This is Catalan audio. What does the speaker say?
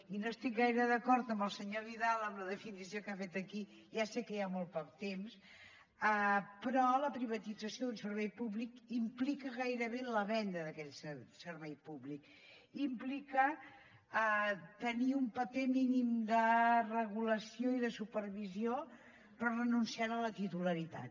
i no estic gaire d’acord amb el senyor vidal amb la definició que ha fet aquí ja sé que hi ha molt poc temps però la privatització d’un servei públic implica gairebé la venda d’aquell servei públic implica tenir un paper mínim de regulació i de supervisió però renunciant a la titularitat